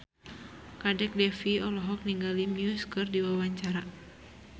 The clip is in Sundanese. Kadek Devi olohok ningali Muse keur diwawancara